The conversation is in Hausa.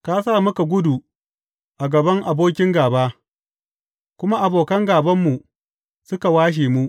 Ka sa muka gudu a gaban abokin gāba, kuma abokan gābanmu suka washe mu.